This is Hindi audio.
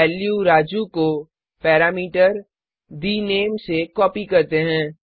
वैल्यू राजू को पैरामीटर the name से कॉपी करते हैं